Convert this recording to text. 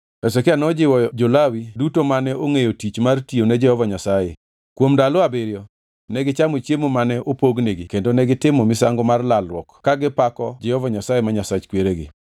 Hezekia nojiwo jo-Lawi duto mane ongʼeyo tich mar tiyo ne Jehova Nyasaye. Kuom ndalo abiriyo negichamo chiemo mane opognigi kendo negitimo misango mar lalruok kagipako Jehova Nyasaye ma Nyasach kweregi.